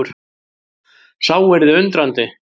Sá yrði undrandi!